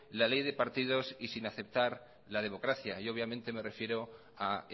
la ley de partidos y sin aceptar la democracia obviamente me refiero a